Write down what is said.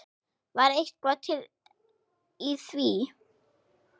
Er eitthvað til í því?